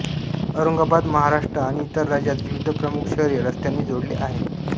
औरंगाबाद महाराष्ट्र आणि इतर राज्यांत विविध प्रमुख शहरे रस्त्यांनी जोडले आहे